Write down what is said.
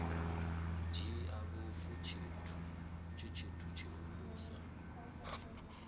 dzhia lufu tshi tshithu tshihulusa